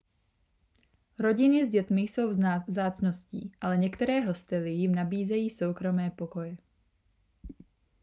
rodiny s dětmi jsou vzácností ale některé hostely jim nabízejí soukromé pokoje